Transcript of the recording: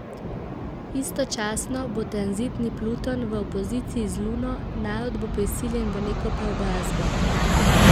Istočasno bo tranzitni Pluton v opoziciji z Luno, narod bo prisiljen v neko preobrazbo.